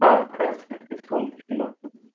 हा, त्यासाठी च फोन केला होतं मी